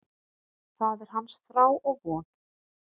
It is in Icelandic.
Það er hans þrá og von.